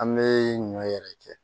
An bɛ ɲɔ yɛrɛ kɛ